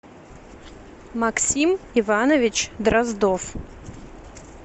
максим иванович дроздов